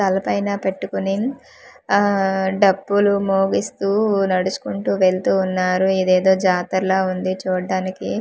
తలపైన పెట్టుకొని ఆ డప్పులు మొగిస్తూ నడుచ్కుంటూ వెళ్తూ వున్నారు ఇదేదో జతార లా వుంది చూడ్డానికి ఆ--